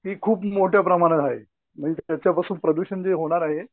ती खूप मोठ्या प्रमाणात आहे. मीन्स याच्यापासून प्रदूषण जे होणार आहे